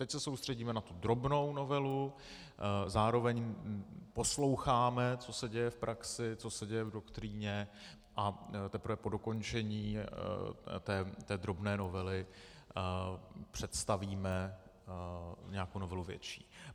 Teď se soustředíme na tu drobnou novelu, zároveň posloucháme, co se děje v praxi, co se děje v doktríně, a teprve po dokončení té drobné novely představíme nějakou novelu větší.